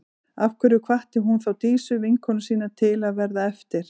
Af hverju hvatti hún þá Dísu, vinkonu sína, til að verða eftir?